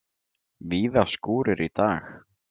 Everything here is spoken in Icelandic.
Víða skúrir í dag